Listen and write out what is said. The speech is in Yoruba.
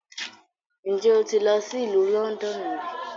Njẹ o ti lọ si Ilu Lọndọnu ri?